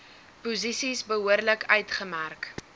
posisies behoorlik uitgemerk